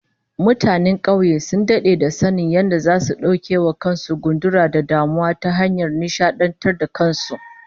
Mutanen kauye sun dade da sanin yadda zasu dauke wa kan su gundura da damuwa ta hanyar nishadantar da kan su